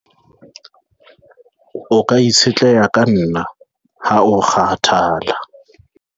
o ka itshetleha ka nna ha o kgathala